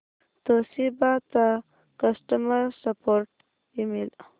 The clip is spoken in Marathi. तोशिबा चा कस्टमर सपोर्ट ईमेल